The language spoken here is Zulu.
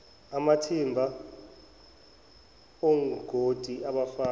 amathimba ongoti abafana